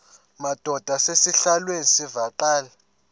madod asesihialweni sivaqal